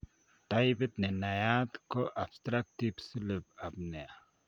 Taipit nenaiyaat ko obstructive sleep apnea